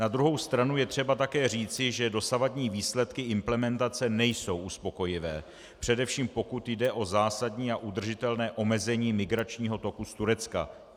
Na druhou stranu je třeba také říci, že dosavadní výsledky implementace nejsou uspokojivé, především pokud jde o zásadní a udržitelné omezení migračního toku z Turecka.